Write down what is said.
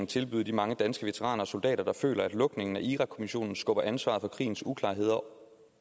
tilbyde de mange danske veteraner og soldater der føler at lukningen af irakkommissionen skubber ansvaret for krigens uklarheder over